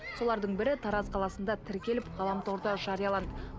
солардың бірі тараз қаласында тіркеліп ғаламторда жарияланды